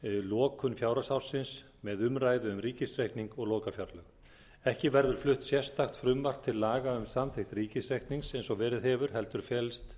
lokun fjárhagsársins með umræðu um ríkisreikning og lokafjárlög ekki verður flutt sérstakt frumvarp til laga um samþykkt ríkisreiknings eins og verið hefur heldur felist